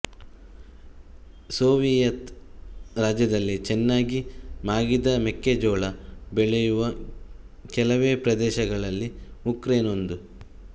Soviet ರಾಜ್ಯದಲ್ಲಿ ಚೆನ್ನಾಗಿ ಮಾಗಿದ ಮೆಕ್ಕೆಜೋಳ ಬೆಳೆಯುವ ಕೆಲವೇ ಪ್ರದೇಶಗಳಲ್ಲಿ ಉಕ್ರೇನ್ ಒಂದು